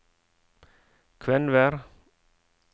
Kvenvær